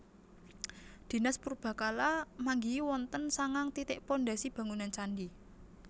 Dinas Purbakala manggihi wonten sangang titik pondhasi bangunan candhi